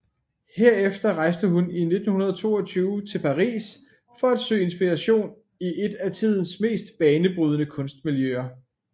Herefter rejste hun i 1922 til Paris for at søge inspiration i eet af tidens mest banebrydende kunstmiljøer